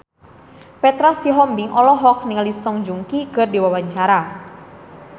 Petra Sihombing olohok ningali Song Joong Ki keur diwawancara